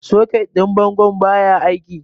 Soket din bangon baya aiki.